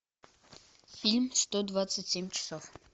фильм сто двадцать семь часов